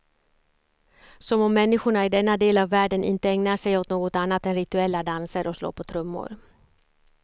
Som om människorna i denna del av världen inte ägnar sig åt något annat än rituella danser och slå på trummor.